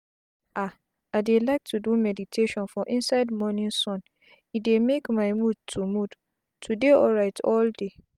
ah i dey like to do meditation for inside morning sun e dey make my mood to mood to dey alrit all day